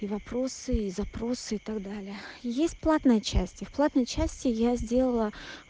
и вопросы и запросы и так далее есть платная часть и в платной части я сделала